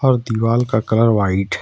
दिवाल का colour white --